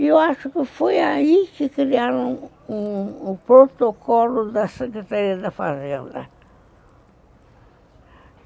E eu acho que foi aí que criaram o protocolo da Secretaria da Fazenda.